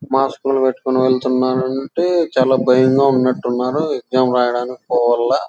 Mask లు పెట్టుకుని వెళుతున్నారు. చాలా భయంగా ఉన్నట్టున్నారు. ఎగ్జామ్ రాయడానికి పోవాలా --